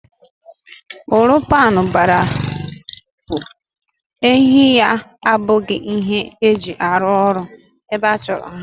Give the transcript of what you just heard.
Uru paanụ bara bụ, ehi ya ebuga ihe eji arụ orụ ebe achọrọ ha